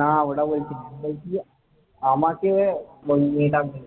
না বলছি যে আমাকে ওই মেয়েটা বলেছে।